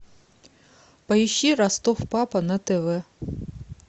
поищи ростов папа на тв